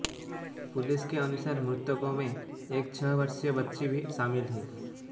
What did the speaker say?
police के अनुसार मृतकों में एक छह वर्षीय बच्ची भी शामिल है